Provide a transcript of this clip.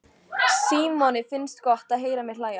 Símoni finnst gott að heyra mig hlæja.